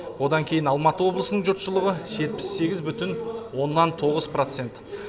одан кейін алматы облысының жұртшылығы жетпіс сегіз бұтін оннан тоғыз процент